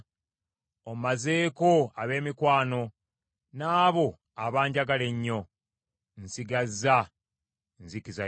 Ommazeeko ab’emikwano n’abo abanjagala ennyo; nsigazza nzikiza yokka.